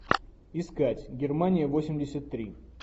искать германия восемьдесят три